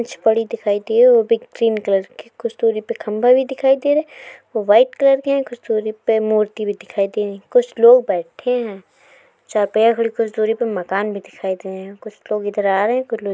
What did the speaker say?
कुछ पड़ी दिखाई दी ही वो भी ग्रीन कलर की। कुछ दुरी पे खंभा भी दिखाई दे रहा है वाइट कलर के हैं। कुछ दुरी पे मूर्ति भी दिखाई दे रहीं। कुछ लोग बैठे हैं। जहां पे कुछ दुरी पर मकान भी दिखाई दे रहे हैं। कुछ लोग इधर आ रहे हैं। कुछ लोग --